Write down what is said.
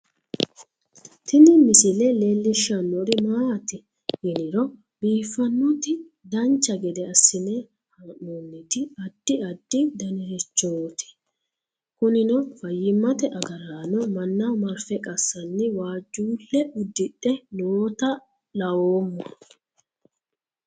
Tini misile leellishshannori maati yiniro biiffannoti dancha gede assine haa'noonniti addi addi danirichooti kunino fayyimate agaraano mannaho marfe qassanni waajjuulle uddidhe noota laoomm